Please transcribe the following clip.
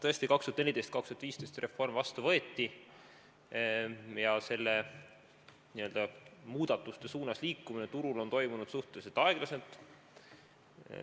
Tõesti, 2014–2015 võeti reform vastu ja nende muudatuste suunas liikumine turul on toimunud suhteliselt aeglaselt.